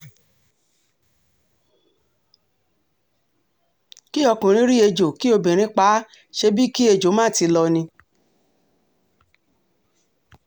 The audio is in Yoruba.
kí ọkùnrin rí ẹjọ́ kí obìnrin pa á ṣebí kí ẹjọ́ má ti lọ ni